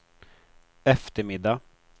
eftermiddag